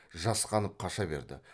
жасқанып қаша берді